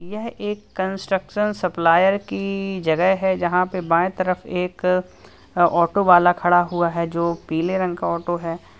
यह एक construction supplier की जगह है जहां पर बाएं तरफ एक ऑटो वाला खड़ा हुआ है जो पीले रंग का ऑटो है।